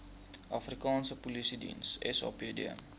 afrikaanse polisiediens sapd